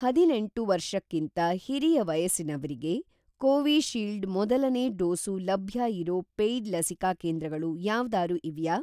ಹದಿನೆಂಟು ವರ್ಷಕ್ಕಿಂತ ಹಿರಿಯ ವಯಸ್ಸಿನವ್ರಿಗೆ ಕೋವಿಶೀಲ್ಡ್ ಮೊದಲನೇ ಡೋಸು ಲಭ್ಯ ಇರೋ ಪೇಯ್ಡ್ ಲಸಿಕಾ ಕೇಂದ್ರಗಳು ಯಾವ್ದಾರೂ ಇವ್ಯಾ?